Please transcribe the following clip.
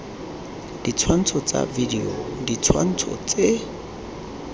ditshwantsho tsa video ditshwantsho tse